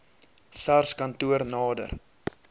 sars kantoor nader